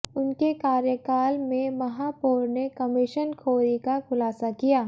उनके कार्यकाल में महापौर ने कमीशनखोरी का खुलासा किया